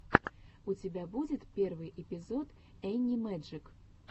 у тебя будет первый эпизод энни мэджик